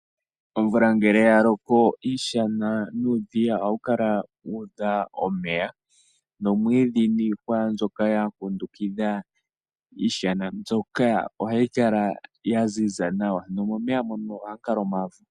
Omvula ngele ya loko iishana nuudhiya ohayi kala yuudha omeya, nomwiidhi niihwa mbyoka yakundukidha iishana mbyoka ohayi kala yaziza nawa. Nomomeya moka ohamu kala omavo.